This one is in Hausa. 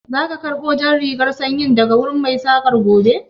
Za ka karɓo jan rigar sanyin daga wurin Mai saƙan gobe?